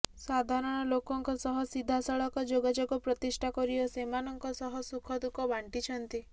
ସାଧାରଣ ଲୋକଙ୍କ ସହ ସିଧାସଳଖ ଯୋଗାଯୋଗ ପ୍ରତିଷ୍ଠା କରି ଓ ସେମାନଙ୍କ ସହ ସୁଖ ଦୁଃଖ ବାଣ୍ଟିଛନ୍ତି